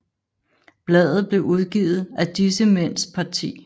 Bladet blev udgivet af disse mænds parti